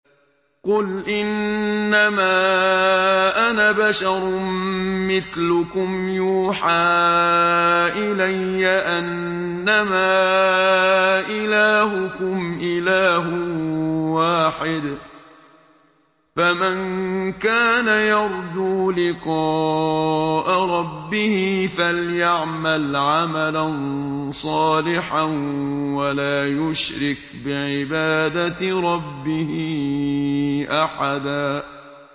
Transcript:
قُلْ إِنَّمَا أَنَا بَشَرٌ مِّثْلُكُمْ يُوحَىٰ إِلَيَّ أَنَّمَا إِلَٰهُكُمْ إِلَٰهٌ وَاحِدٌ ۖ فَمَن كَانَ يَرْجُو لِقَاءَ رَبِّهِ فَلْيَعْمَلْ عَمَلًا صَالِحًا وَلَا يُشْرِكْ بِعِبَادَةِ رَبِّهِ أَحَدًا